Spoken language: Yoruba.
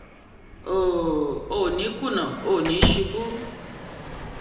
o ò ní í kùnà o ò ní í ṣubú